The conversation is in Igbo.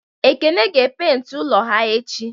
Ekene ga e penti ulo ha echi